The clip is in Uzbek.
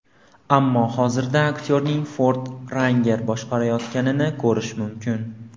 Ammo hozirda aktyorning Ford Ranger boshqarayotganini ko‘rish mumkin.